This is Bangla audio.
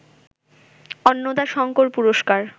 অন্নদাশঙ্কর পুরস্কার